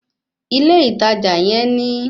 Ilé ìtajà yẹn ní